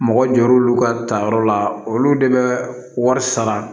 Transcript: Mɔgɔ jɔr'olu ka tayɔrɔ la olu de bɛ wari sara